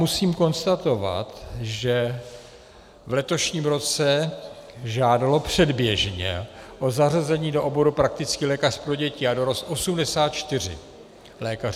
Musím konstatovat, že v letošním roce žádalo předběžně o zařazení do oboru praktický lékař pro děti a dorost 84 lékařů.